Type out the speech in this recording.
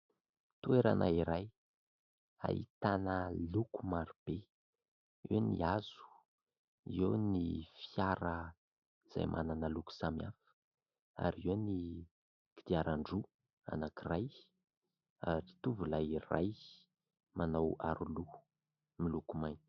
Toerana iray ahitana loko maro be eo ny hazo eo ny fiara izay manana loko samihafa ary eo ny kodiaran-droa anankiray ary mitovy ilay iray manao aroloha miloko mainty.